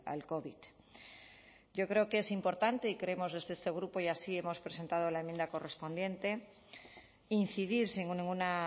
al covid yo creo que es importante y creemos desde este grupo y así hemos presentado la enmienda correspondiente incidir sin ninguna